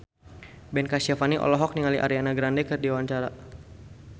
Ben Kasyafani olohok ningali Ariana Grande keur diwawancara